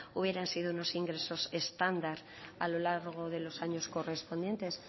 hubieran sido unos ingresos estándar a lo largo de los años correspondientes